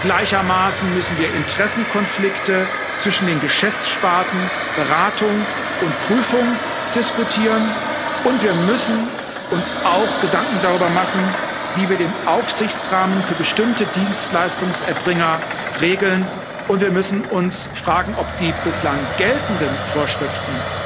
Gleichermaßen müssen wir Interessenkonflikte zwischen den Geschäftssparten, Beratung und Prüfung diskutieren, und wir müssen uns auch Gedanken darüber machen, wie wir den Aufsichtsrahmen für bestimmte Dienstleistungserbringer regeln, und wir müssen uns fragen, ob die bislang geltenden Vorschriften